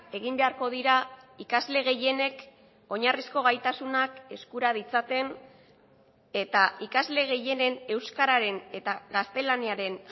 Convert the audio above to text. egin beharko dira ikasle gehienek oinarrizko gaitasunak eskura ditzaten eta ikasle gehienen euskararen eta gaztelaniaren